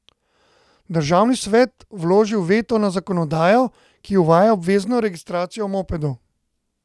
Državni svet vložil veto na zakonodajo, ki uvaja obvezno registracijo mopedov.